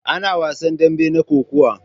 Ana wasan daɓe na Kokawa.